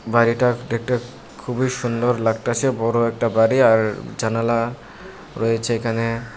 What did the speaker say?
বাড়িটা ডেকটে খুবই সুন্ডর লাগটেসে বড় একটা বাড়ি আর জানালা রয়েছে এখানে।